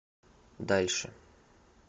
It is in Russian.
дальше